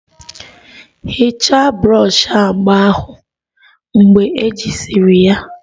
Hichaa brọshi agba ahụ mgbe ejisiri ya!